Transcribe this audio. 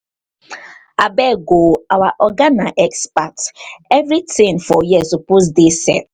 abeg o our oga na expert everytin for here suppose dey set.